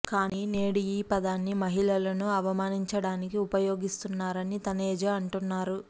కానీ నేడు ఈ పదాన్ని మహిళలను అవమానించడానికి ఉపయోగిస్తున్నారని తనేజా అంటున్నారు